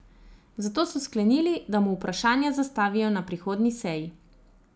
Zato so sklenili, da mu vprašanja zastavijo na prihodnji seji.